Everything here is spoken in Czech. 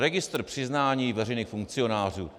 Registr přiznání veřejných funkcionářů.